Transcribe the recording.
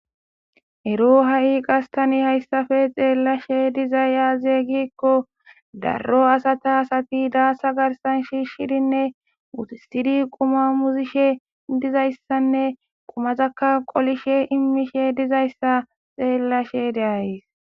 Ero ha'i qastani hayssafe xeellashe dizay yaazeeygikko daro asata asati daasa garsan shiishshirinne wutistiri quma muzishe dizayssanne qumazaka qolishe immishe dizayssa xeellashe de'ays